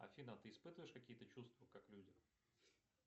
афина ты испытываешь какие то чувства как люди